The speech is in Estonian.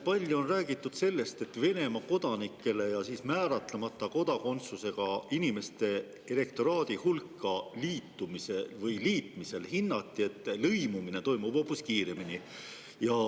Palju on räägitud sellest, et Venemaa kodanike ja määratlemata kodakondsusega inimeste elektoraadi hulka liitmisel hinnati, et lõimumine toimub hoopis kiiremini.